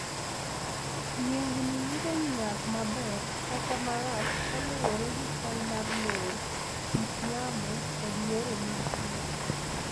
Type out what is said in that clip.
Yiengini yudo nyak maber kata marach kaluwore gi chal mar lowo, kit yamo, kod yore mag pur.